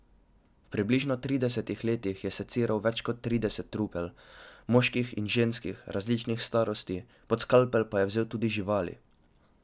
V približno tridesetih letih je seciral več kot trideset trupel, moških in ženskih, različnih starosti, pod skalpel je vzel tudi živali.